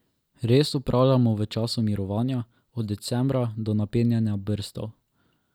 Rez opravljamo v času mirovanja, od decembra do napenjanja brstov.